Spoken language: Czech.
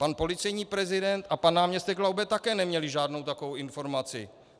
Pan policejní prezident a pan náměstek Laube také neměli žádnou takovou informaci.